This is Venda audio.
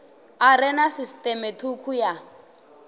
are na sisiṱeme thukhu ya